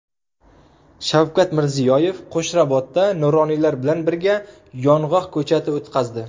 Shavkat Mirziyoyev Qo‘shrabotda nuroniylar bilan birga yong‘oq ko‘chati o‘tqazdi.